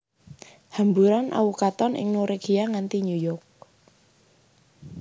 Hamburan awu katon ing Norwegia nganti New York